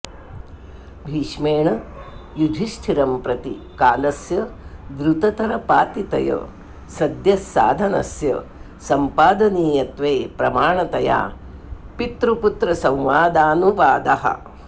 भीष्मेण युधिष्ठिरंप्रति कालस्य द्रुततरपातितय सद्यः साधनस्य संपादनीयत्वे प्रमाणतया पितृपुत्रसंवादानुवादः